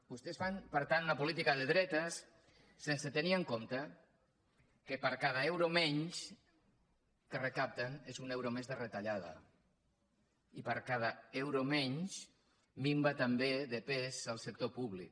vostès fan per tant una política de dretes sense tenir en compte que cada euro menys que recapten és un euro més de retallada i cada euro menys minva també de pes el sector públic